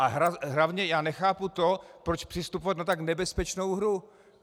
A hlavně já nechápu to, proč přistupovat na tak nebezpečnou hru.